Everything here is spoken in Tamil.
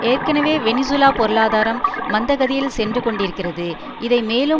ஏற்கனவே வெனிசூலா பொருளாதாரம் மந்தகதியில் சென்று கொண்டிருக்கிறது இதை மேலும்